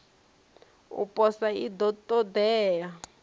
u posa i ḓo ṱoḓea